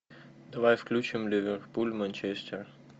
давай включим ливерпуль манчестер